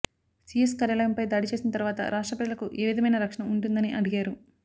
CS కార్యాలయంపై దాడి చేసిన తర్వాత రాష్ట్ర ప్రజలకు ఏ విధమైన రక్షణ ఉంటుందని అడిగారు